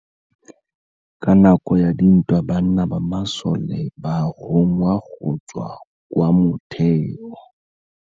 Ka nakô ya dintwa banna ba masole ba rongwa go tswa kwa mothêô.